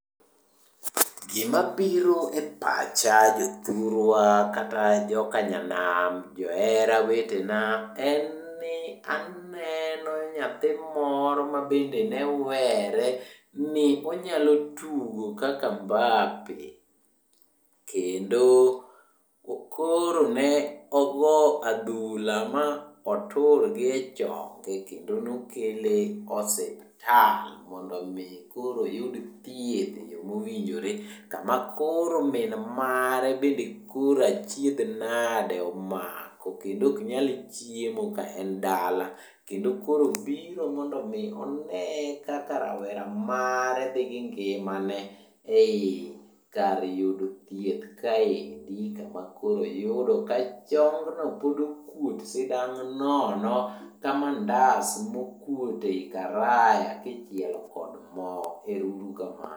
Gimabiro e pacha jothurwa kata jokanam johera wetena en ni aneno nyathi moro mabende newere ni onyalo tugo kaka Mbappe kendo koro ne ogo adhula ma otur gi chonge kendo nokele osiptal mondo omi koro oyud thieth e yo mowinjore kama koro min mare bende koro achiedh nade omako kendo ok nyal chiemo ka en dala kendo koro obiro mondo omi one kaka rawera mare dhi gi ngima ne e kar yudo thieth kaendi kama koro oyudo ka chongno pod okuot sidang' nono ka mandas mokuot ei karaya kichielo kod mo. Ero uru kamano.